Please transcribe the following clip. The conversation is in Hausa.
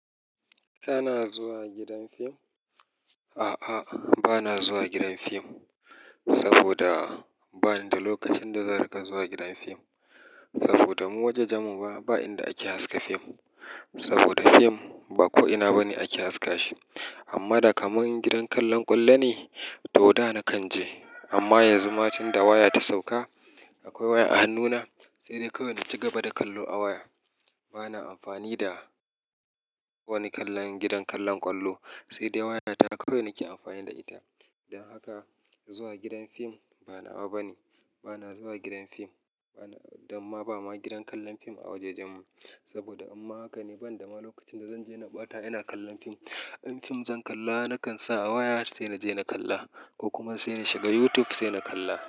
Kana zuwa gidan fim? A'a, ba na zuwa gidan fim saboda ba ni da lokacin da zan rinka zuwa gidan fim. Saboda mu wajajenmu ma, ba inda ake haska fim. Saboda fim ba ko'ina bane ake haska shi. Amma da kaman gidan kallon ƙwallo ne, to da na kan je. Amma yanzu, matin da waya ta sauka, akwai waya a hannuna, sai dai kawai na ci gaba da kallo a waya. Ba na amfani da wani kallon gidan kallon ƙwallo, sai dai waya ta kawai nake amfani da ita. Don haka zuwa gidan fim ba na wa bane. Bana zuwa gidan fim bana, dan ma ba ma gidan kallon fim a wajajen mu. Saboda amma haka ne, ban da ma lokacin da zan je na ɓata, ina kallon fim. In fim zan kalla, na kan sa a waya sai na je na kalla ko kuma sai na shiga YouTube sai na kalla.